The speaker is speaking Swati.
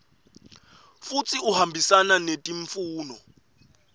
futsi uhambisana netimfuno